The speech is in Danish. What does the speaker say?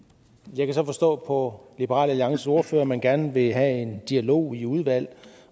jeg kan så forstå på liberal alliances ordfører at man gerne vil have en dialog i udvalget